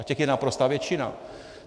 A těch je naprostá většina.